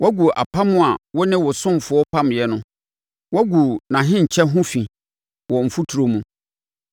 Woagu apam a wo ne wo ɔsomfoɔ pameeɛ no woagu nʼahenkyɛ ho fi wɔ mfuturo mu.